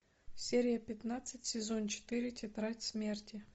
серия пятнадцать сезон четыре тетрадь смерти